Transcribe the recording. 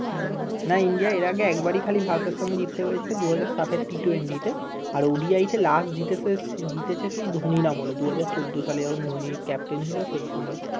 না ইন্ডিয়া এর আগে খালি ভারতের সাথে জিততে পেরেছিল দুহাজার সাতের টি টুয়েন্টি তে আর ও ডি আইটি তে জিতেছে জিতেছে হয়ছে ধনির আমলে দুহাজার চৌদ্দ সালে যখন ধনি কাপ্তেন ছিল সেই সময়